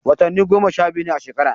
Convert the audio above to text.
Watanni goma sha biyu ne a shekara.